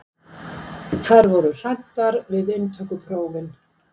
Þær voru hræddar við inntökuprófin.